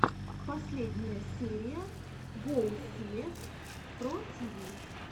последняя серия гоусиэс про тиви